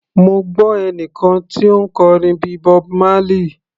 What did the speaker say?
Mo gbọ́ ẹnìkan tí ó ń kọrin bíi Bob Marley.